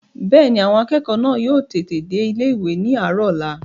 Bẹ́ẹ̀ni, àwọn akẹ́kọ̀ọ́ náà yóò tètè dé ilé-ìwé ní àárọ̀ ọ̀la